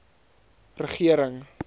regering